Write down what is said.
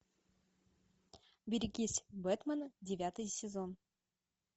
берегитесь бэтмена девятый сезон